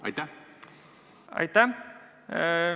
Aitäh!